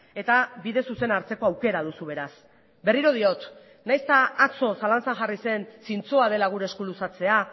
eta bide zuzena hartzeko aukera duzu beraz berriro diot nahiz eta atzo zalantzan jarri zen zintzoa dela gure esku luzatzea